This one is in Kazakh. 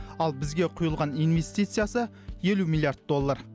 ал бізге құйылған инвестициясы елу миллиард доллар